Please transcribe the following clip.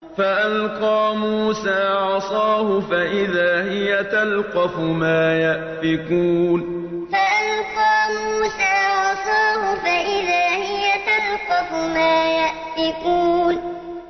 فَأَلْقَىٰ مُوسَىٰ عَصَاهُ فَإِذَا هِيَ تَلْقَفُ مَا يَأْفِكُونَ فَأَلْقَىٰ مُوسَىٰ عَصَاهُ فَإِذَا هِيَ تَلْقَفُ مَا يَأْفِكُونَ